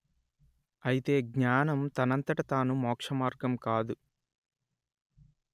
అయితే జ్ఞానం తనంతట తాను మోక్షమార్గం కాదు